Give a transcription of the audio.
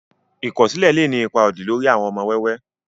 ikọsilẹ lé ní ipá odì lórí àwon ọmọ wẹ́wẹ